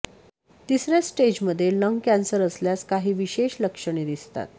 तिसऱ्या स्टेजमध्ये lung cancer असल्यास काही विशेष लक्षणे दिसतात